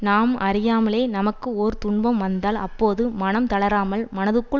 நாம் அறியாமலே நமக்கு ஒரு துன்பம் வந்தால் அப்போது மனம் தளராமல் மனத்துள்